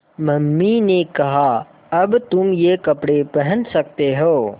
mummy ने कहा अब तुम ये कपड़े पहन सकते हो